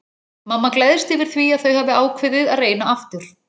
Mamma gleðst yfir því að þau hafi ákveðið að reyna aftur.